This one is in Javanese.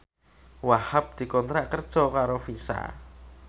Wahhab dikontrak kerja karo Visa